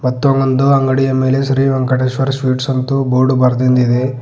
ಮತ್ತು ಒಂದು ಅಂಗಡಿಯ ಮೇಲೆ ಶ್ರೀ ವೆಂಕಟೇಶ್ವರ ಸ್ವೀಟ್ಸ್ ಅಂತು ಬೋರ್ಡು ಬರ್ದಿನ್ದ ಇದೆ.